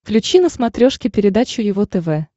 включи на смотрешке передачу его тв